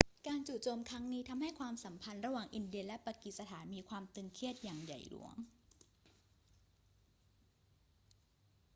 การจู่โจมครั้งนี้ทำให้ความสัมพันธ์ระหว่างอินเดียและปากีสถานมีความตึงเครียดอย่างใหญ่หลวง